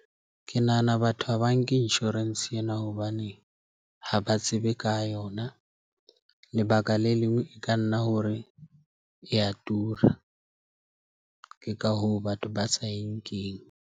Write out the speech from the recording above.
Ke nahana batho ha ba nke insurance ena hobane ha ba tsebe ka yona. Lebaka le lengwe e ka nna hore e a tura. Ke ka hoo batho ba sa eng keng.